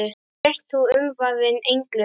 Sért þú umvafin englum.